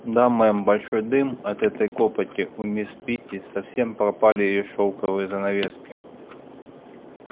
да мэм большой дым от этой копоти у мисс питти совсем пропали её шелковые занавески